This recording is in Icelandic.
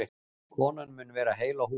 Konan mun vera heil á húfi